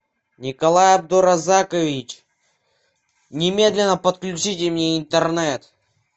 николай абдуразакович немедленно подключите мне интернет